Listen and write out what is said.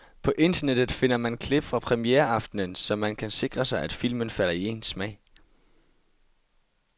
På internettet finder man klip fra premiereaftenen, så man kan sikre sig, at filmen falder i ens smag.